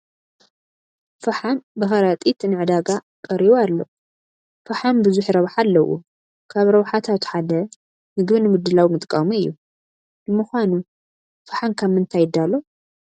ፍሓም ብኸረጢት ንዕዳጋ ቀሪቡ ኣሎ፡፡ ፈሓም ብዙሕ ረብሓ ኣለዎ፡፡ ካብ ረብሓታቱ ሓደ ምግቢ ንምድላው ምጥቃሙ እዩ፡፡ ንምዃኑ ፈሓም ካብ ምንታይ ይዳሎ?